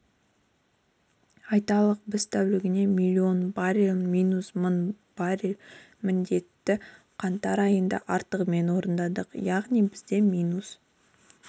айталық біз тәулігіне миллион баррель минус мың баррель міндетті қаңтар айында артығымен орындадық яғни бізде минус